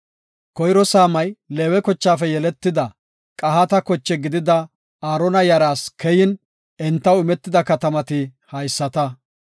Koyro saamay Leewe kochaafe yeletida, Qahaata koche gidida Aarona yaraas keyin, entaw imetida katamati haysata;